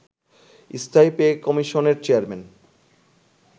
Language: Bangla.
স্থায়ী পেকমিশনের চেয়ারম্যান